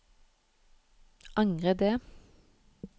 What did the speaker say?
angre det